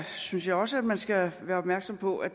synes jeg også man skal være opmærksom på at